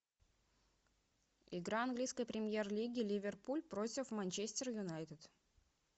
игра английской премьер лиги ливерпуль против манчестер юнайтед